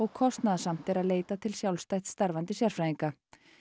kostnaðarsamt er að leita til sjálfstætt starfandi sérfræðinga